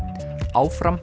áfram